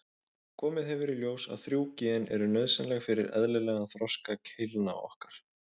Komið hefur í ljós að þrjú gen eru nauðsynleg fyrir eðlilegan þroska keilna okkar.